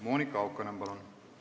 Monika Haukanõmm, palun!